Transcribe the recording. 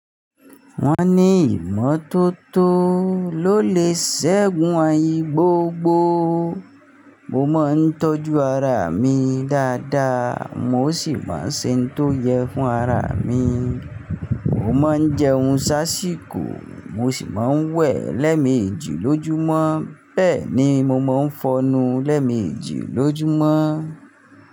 Wọ́n ní ìmọ́tótó ló lè ṣẹ́gun àyin gbọ̀gbọ̀. Mo máa ń tọ́jú ara mi dáadáa, mo sì máa ń ṣe ohun tó yẹ fún ara mi. Mo máa ń jẹun sáṣìkò mo sì máa ń wẹ̀ lẹ́ẹ̀mejì lójúmọ́. Bẹ́ẹ̀ ni, mo mọ ń fọnu lẹ́ẹ̀mejì lójúmọ́.